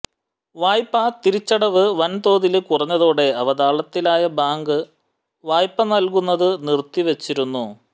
വായ്പാ തിരിച്ചടവ് വന്തോതില് കുറഞ്ഞതോടെ അവതാളത്തിലായ ബാങ്ക് വായ്പ നല്കുന്നത് നിര്ത്തിവച്ചിരുന്നു